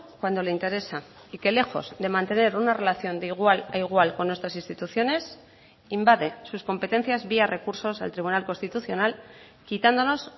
cuando le interesa y que lejos de mantener una relación de igual a igual con nuestras instituciones invade sus competencias vía recursos al tribunal constitucional quitándonos